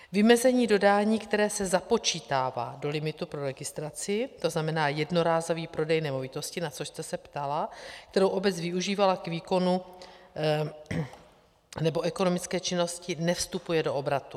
Vymezení dodání, které se započítává do limitu pro registraci, to znamená jednorázový prodej nemovitosti, na což jste se ptala, kterou obec využívala k výkonu nebo ekonomické činnosti, nevstupuje do obratu.